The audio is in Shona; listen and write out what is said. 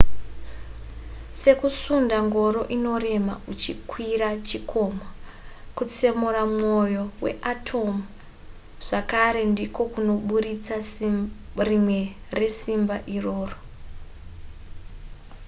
sekusunda ngoro inorema uchikwira chikomo kutsemura mwoyo weatomu zvakare ndiko kunoburitsa rimwe resimba iroro